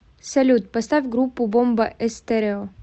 салют поставь группу бомба эстерео